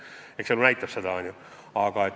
Eks elu näitab, eks ole!